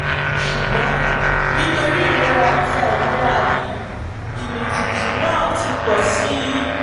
ṣùgbọ́n nítorí ìrora àti àìlera yìí ìmìtìtì náà ti pọ̀ sí i